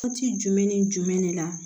Waati jumɛn ni jumɛn de la